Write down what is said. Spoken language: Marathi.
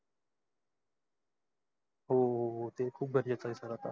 हो ते खूप बर आहे सगळ अत्ता.